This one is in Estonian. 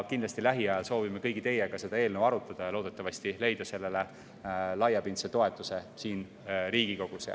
Kindlasti soovime lähiajal kõigi teiega seda eelnõu arutada ja loodetavasti leiame sellele laiapindse toetuse siin Riigikogus.